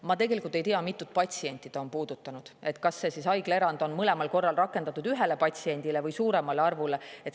Ma tegelikult ei tea, mitut patsienti see on puudutanud ja kas seda haiglaerandit on rakendatud mõlemal korral ühele patsiendile või suuremale patsientide arvule.